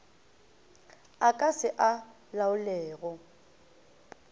a ka se a laolego